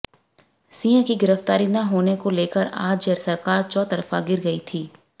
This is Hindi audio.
सिंह की गिरफ्तारी न होने को लेकर राज्य सरकार चौतरफा घिर गयी थी